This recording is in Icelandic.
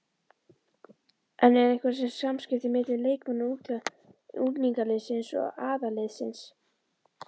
En eru einhver samskipti milli leikmanna unglingaliðsins og aðalliðsins?